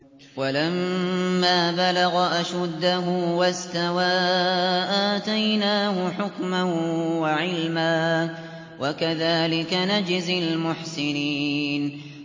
وَلَمَّا بَلَغَ أَشُدَّهُ وَاسْتَوَىٰ آتَيْنَاهُ حُكْمًا وَعِلْمًا ۚ وَكَذَٰلِكَ نَجْزِي الْمُحْسِنِينَ